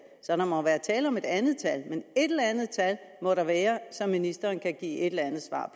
tale om et andet tal men et eller andet tal må der være som ministeren kan give et eller andet svar